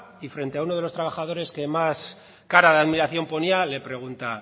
y frente a uno de los trabajadores que más cara de admiración ponía le pregunta